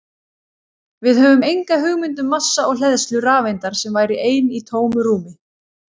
Við höfum enga hugmynd um massa og hleðslu rafeindar sem væri ein í tómu rúmi!